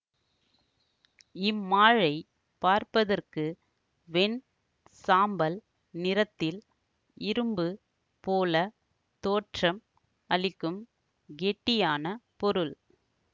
இம்மாழை பார்ப்பதற்கு வெண் சாம்பல் நிறத்தில் இரும்பு போல தோற்றம் அளிக்கும் கெட்டியான பொருள்